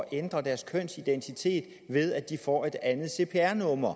ændre deres kønsidentitet ved at de får et andet cpr nummer